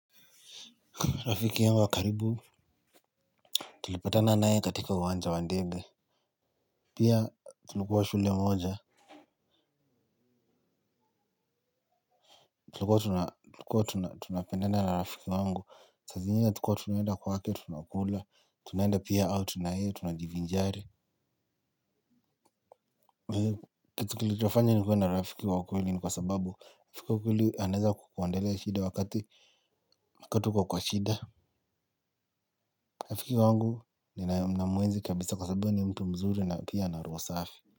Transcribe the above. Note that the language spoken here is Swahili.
Rafiki yangu wa karibu. Tulipatana nae katika uwanja wa ndege. Pia tulikuwa shule moja. Tulikuwa tunapendena na rafiki wangu. Sa zingine tukua tunaenda kwake, tunakula, tunaenda pia au tunaye, tunajivinjari. Kitu kilichofanya nikuwe na rafiki wa kweli ni kwa sababu, rafiki wa kweli anaweza kukuondolea shida wakati uko kwa shida. Rafiki wangu ninaye namwenzi kabisa kwa sababu yeye ni mtu mzuri na pia ana roho safi.